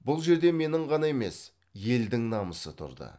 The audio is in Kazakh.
бұл жерде менің ғана емес елдің намысы тұрды